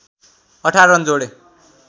१८ run जोडे